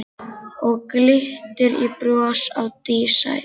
Og glittir í bros á dísæt